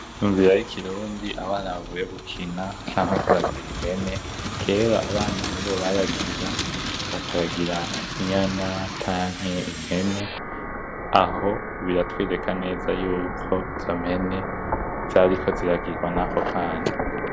Inzira y’ikirundi abana bavuye gukina canke kuragira impene, kera abana nibo baragira bakaragira Inyana canke impene. Aho biratwereka neza yuko izo mpene zariko ziragirwa nako kana.